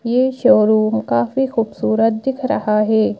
ये शोरूम काफी खूबसूरत दिख रहा है।